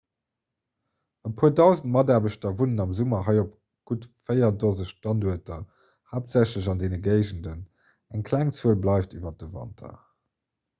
e puer dausend mataarbechter wunnen am summer hei op gutt véier dose standuerter haaptsächlech an deene géigenden eng kleng zuel bleift iwwer de wanter